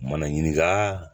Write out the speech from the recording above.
Mana ɲininka